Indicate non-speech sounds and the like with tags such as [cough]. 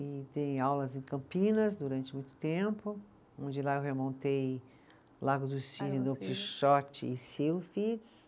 E dei aulas em Campinas durante muito tempo, onde lá eu remontei Lago do Cines do [unintelligible]